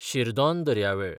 शिरदोन दर्यावेळ